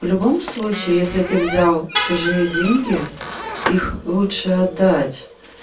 в любом случае если ты взял чужие деньги их лучше отдать